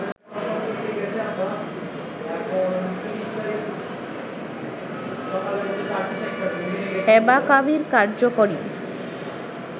অ্যাবাকাভির কার্যকরী